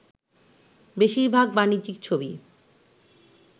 বেশির ভাগ ‘বাণিজ্যিক’ ছবি